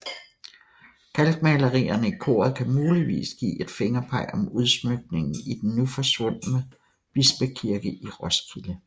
Kalkmalerierne i koret kan muligvis give et fingerpeg om udsmykningen i den nu forsvundne bispekirke i Roskilde